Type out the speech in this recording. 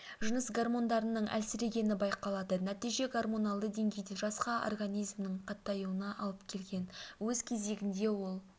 жыныс гормондарының әлсірегені байқалады нәтиже гормоналды деңгейде жасқа организмнің қатаюына алып келген өз кезегінде ол